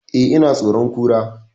Eh, ina tsoron Kura